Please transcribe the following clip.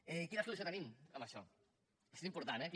i quina solució tenim en això això és important eh aquí